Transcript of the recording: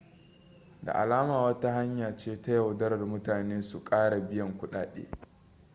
da alama wata hanya ce ta yaudarar mutane su kara biyan kudade